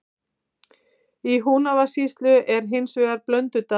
Í Húnavatnssýslu er hins vegar Blöndudalur.